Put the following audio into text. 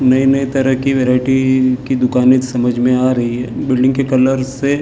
नाई नए तरह की वरेटी की दुखानें समझ में आ रही है बिल्लिंग के कलर से--